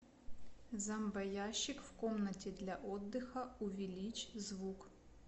зомбоящик в комнате для отдыха увеличь звук